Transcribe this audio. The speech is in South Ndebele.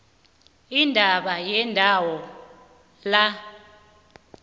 indaba yendawo la